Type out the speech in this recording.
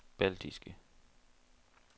baltiske